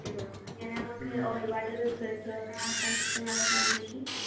ഞമ്മക്ക് ഒരുപാട് research ഒക്കെ നടത്താൻ ഇഷ്ടമുള്ളവരൊക്കെ ആണെങ്കിൽ